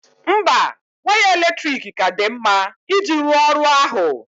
Mba, waya eletrik ka dị mma iji rụọ ọrụ ahụ